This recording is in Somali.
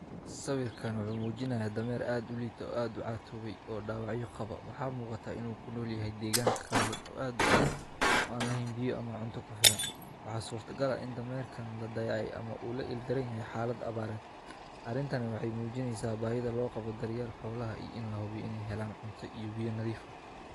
Sawirkan wuxuu muujinayo dameer aad uliito, aad catoobay oo dhawacyo qaba. Waxaa mugata inuu ku nool yahay deegaanka kala duwan oo aad u adag, oo aan lahiim biyo ama cunto ku feeran. Waxaa suurtagal ah in dameerkan la dayay ama uu la ildiran yahay xaalad abbaareed. Arintani waxay muujinaysaa baay'ida loo qabo daryeel xawlaha iin lahubi inay helaan cunto iyo biyo nadiif ah.